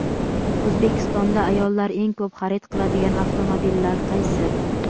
O‘zbekistonda ayollar eng ko‘p xarid qiladigan avtomobillar qaysi?.